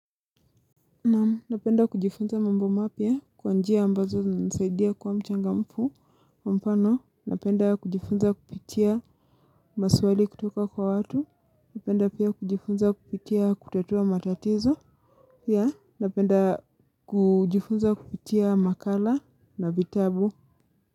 Napenda kujifunza mambo mapya kwa njia ambazo zinisaidia kuwa mchangamfu mfano napenda kujifunza kupitia maswali kutoka kwa watu napenda pia kujifunza kupitia kutatua matatizo napenda kujifunza kupitia makala na vitabu.